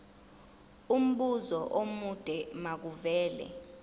umbuzo omude makuvele